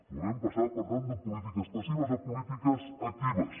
volem passar per tant de polítiques passives a polítiques actives